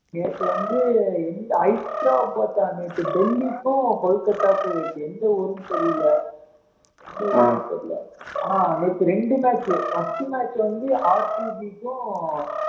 நேத்து வந்து எந்த ஹைதெராபாத் அணி டெல்லிக்கும் கொல்கத்தாவுக்கு எந்த ஊருன்னு தெரியலை எந்த ஊரு தெரியலே ஆனா நேத்து ரெண்டு match first match வந்து க்கும்